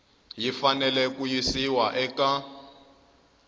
yi fanele ku yisiwa eka